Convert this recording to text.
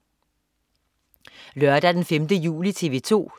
Lørdag den 5. juli - TV 2: